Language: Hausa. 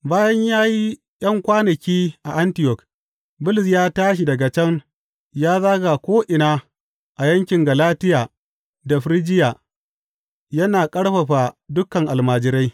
Bayan ya yi ’yan kwanaki a Antiyok, Bulus ya tashi daga can ya zaga ko’ina a yankin Galatiya da Firjiya, yana ƙarfafa dukan almajirai.